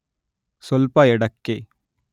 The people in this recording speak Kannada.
ಸ್ವಲ್ಪ ಎಡಕ್ಕೆ